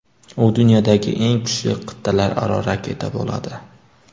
U dunyodagi eng kuchli qit’alararo raketa bo‘ladi.